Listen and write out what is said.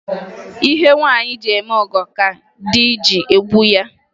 Ihe nwaanyị ji eme ọgọ ka di ji emegbu ya.